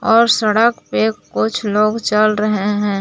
और सड़क पे कुछ लोग चल रहे हैं।